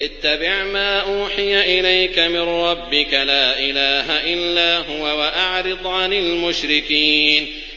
اتَّبِعْ مَا أُوحِيَ إِلَيْكَ مِن رَّبِّكَ ۖ لَا إِلَٰهَ إِلَّا هُوَ ۖ وَأَعْرِضْ عَنِ الْمُشْرِكِينَ